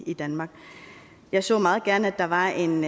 i danmark jeg så meget gerne at der var en